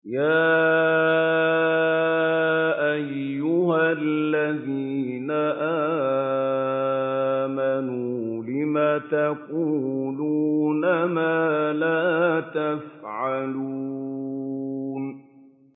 يَا أَيُّهَا الَّذِينَ آمَنُوا لِمَ تَقُولُونَ مَا لَا تَفْعَلُونَ